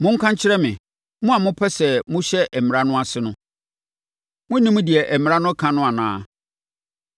Monka nkyerɛ me, mo a mopɛ sɛ mohyɛ Mmara no ase no, monnim deɛ Mmara no ka no anaa?